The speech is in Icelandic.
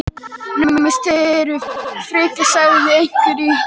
Naumast þið eruð frekir sagði einhver í hrúgunni.